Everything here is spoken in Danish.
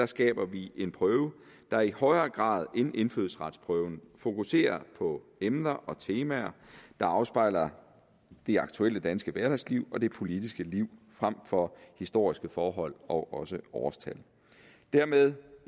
skaber vi en prøve der i højere grad end indfødsretsprøven fokuserer på emner og temaer der afspejler det aktuelle danske hverdagsliv og det politiske liv frem for historiske forhold og også årstal dermed